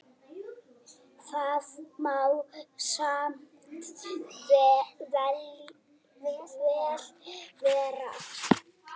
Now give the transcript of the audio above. Það má samt vel vera.